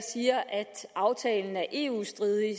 aftalen er eu stridig